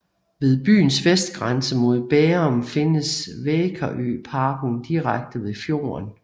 Ved byens vestgrænse mod Bærum findes Vækerøparken direkte ved fjorden